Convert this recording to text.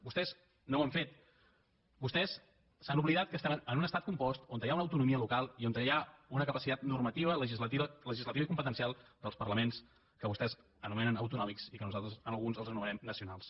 vostès no ho han fet vostès s’han oblidat que estem en un estat compost on hi ha una autonomia local i on hi ha una capacitat normativa legislativa i competencial dels parlaments que vostès anomenen autonòmics i que nosaltres a alguns els anomenem nacionals